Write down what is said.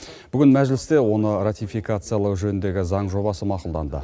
бүгін мәжілісте оны ратификациялау жөніндегі заң жобасы мақұлданды